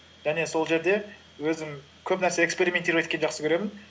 және сол жерде өзім көп нәрсе эксперементировать еткенді жақсы көремін